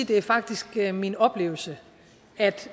det faktisk er min oplevelse at